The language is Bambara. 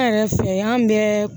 An yɛrɛ fɛ yan an bɛɛ